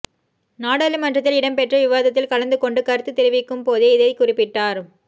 நாடாளுமன்றத்தில் இடம்பெற்ற விவாதத்தில் கலந்துகொண்டு கருத்து தெரிவிக்கும் போதே இதை குறிப்பிட்டார்